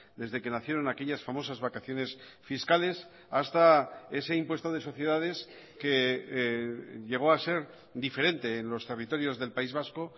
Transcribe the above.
desde que nacieron aquellas famosas vacaciones fiscales hasta ese impuesto de sociedades que llegó a ser diferente en los territorios del país vasco